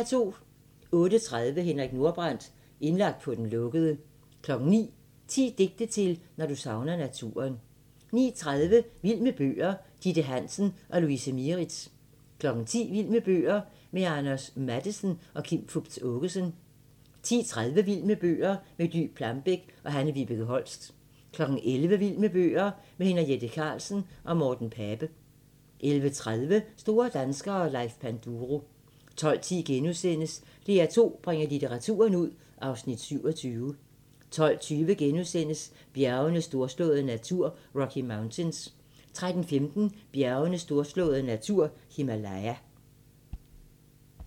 08:30: Henrik Nordbrandt – indlagt på den lukkede 09:00: 10 digte til, når du savner naturen 09:30: Vild med bøger: Ditte Hansen og Louise Mieritz 10:00: Vild med bøger: Med Anders Matthesen og Kim Fupz Aakeson 10:30: Vild Med bøger: Med Dy Plambeck og Hanne-Vibeke Holst 11:00: Vild med bøger: Med Henriette Karlsen og Morten Pape 11:30: Store danskere - Leif Panduro 12:10: DR2 bringer litteraturen ud (Afs. 27)* 12:20: Bjergenes storslåede natur – Rocky Mountains * 13:15: Bjergenes storslåede natur – Himalaya